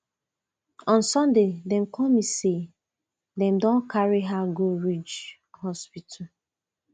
on sunday dem call me say dem don carry her go ridge hospital